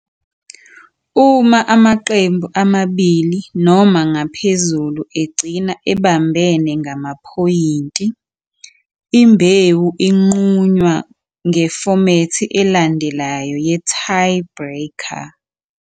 Uma amaqembu amabili noma ngaphezulu egcina ebambene ngamaphoyinti, imbewu inqunywa ngefomethi elandelayo ye-tiebreaker.